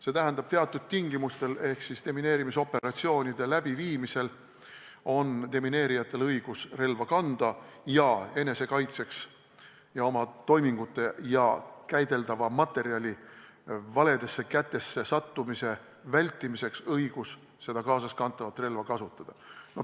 See tähendab, et teatud tingimustel ehk demineerimisoperatsioonide läbiviimisel on demineerijatel õigus relva kanda ning enesekaitseks ja oma toimingute ja käideldava materjali valedesse kätesse sattumise vältimiseks on õigus kaasaskantavat relva kasutada.